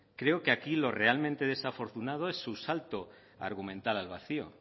creo que aquí lo realmente desafortunado es su salto argumental al vacío